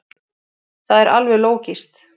Það er alveg lógískt.